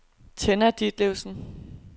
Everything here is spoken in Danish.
Tenna Ditlevsen